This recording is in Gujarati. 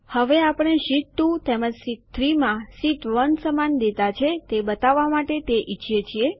હવે આપણે શીટ 2 તેમજ શીટ 3 માં શીટ 1 સમાન ડેટા છે જે બતાવવા માટે તે ઈચ્છીએ છીએ